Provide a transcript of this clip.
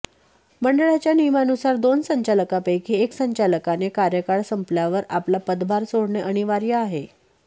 मंडळाच्या नियमानुसार दोन संचालकांपैकी एका संचालकाने कार्यकाळ संपल्यावर आपला पदभार सोडणे अनिवार्य आहे